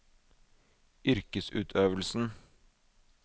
yrkesutøvelsen